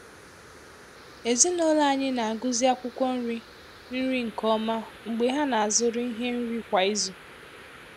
Ezinụlọ anyị na-agụzi akwụkwọ nri nri nke ọma mgbe ha na-azụrụ ihe nri kwa izu.